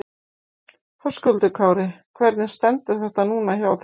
Höskuldur Kári: Hvernig stendur þetta núna hjá þér?